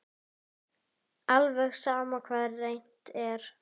Alveg sama hvað reynt er.